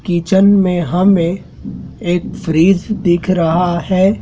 Kitchen में हमें एक फ्रिज दिख रहा है।